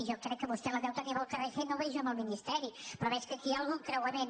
jo crec que vostè la deu tenir amb el carrer génova i jo amb el ministeri però veig que aquí hi ha algun creua· ment